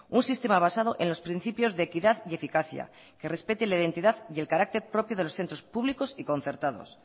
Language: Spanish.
un sistema basado en los principios de equidad y eficacia que respete la identidad y el carácter propio de los centros públicos y concertados